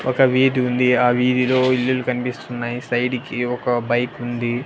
ఒక వీధి ఉంది ఆ వీధిలో ఇల్లులు కనిపిస్తున్నాయి సైడు కి ఒక బైకు ఉంది.